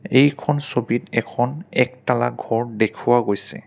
এইখন ছবিত এখন একতালা ঘৰ দেখুৱা গৈছে।